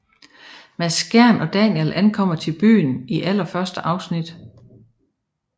Mads Skjern og Daniel ankommer til byen i allerførste afsnit